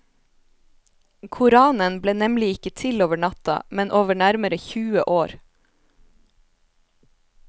Koranen ble nemlig ikke til over natta, men over nærmere tjue år.